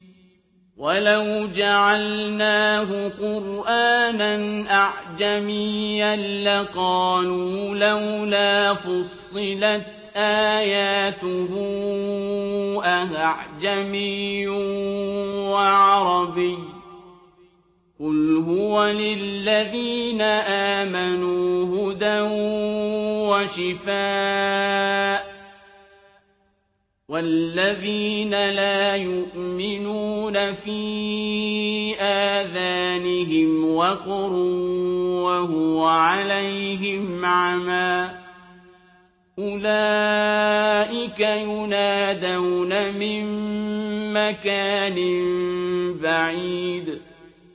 وَلَوْ جَعَلْنَاهُ قُرْآنًا أَعْجَمِيًّا لَّقَالُوا لَوْلَا فُصِّلَتْ آيَاتُهُ ۖ أَأَعْجَمِيٌّ وَعَرَبِيٌّ ۗ قُلْ هُوَ لِلَّذِينَ آمَنُوا هُدًى وَشِفَاءٌ ۖ وَالَّذِينَ لَا يُؤْمِنُونَ فِي آذَانِهِمْ وَقْرٌ وَهُوَ عَلَيْهِمْ عَمًى ۚ أُولَٰئِكَ يُنَادَوْنَ مِن مَّكَانٍ بَعِيدٍ